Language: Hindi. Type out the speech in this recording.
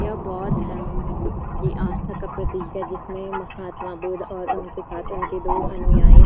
ये बौद्ध धर्म की आस्था का प्रतीक है जिसमें महात्मा बुद्ध और उनके साथ उनके दो अनुयायी --